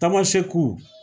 Tamasɛkiw